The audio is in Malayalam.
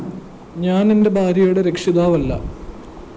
ഞാന്‍ എന്റെ ഭാര്യയുടെ രക്ഷിതാവല്ല